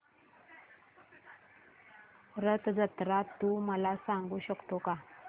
रथ जत्रा तू मला सांगू शकतो का